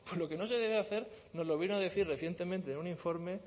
lo que no se debe de hacer nos lo vino a decir recientemente en un informe